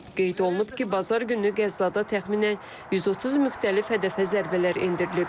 Qeyd olunub ki, bazar günü Qəzzada təxminən 130 müxtəlif hədəfə zərbələr endirilib.